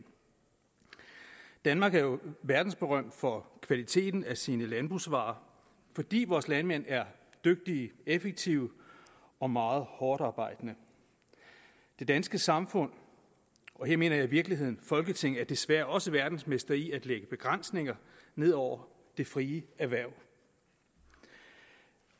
danmark er jo verdensberømt for kvaliteten af sine landbrugsvarer fordi vores landmænd er dygtige effektive og meget hårdtarbejdende det danske samfund og her mener jeg i virkeligheden folketinget er desværre også verdensmestre i at lægge begrænsninger ned over det frie erhverv